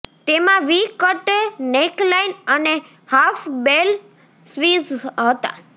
તેમાં V cut neckline અને half bell sleeves હતા